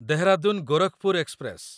Dehradun Gorakhpur express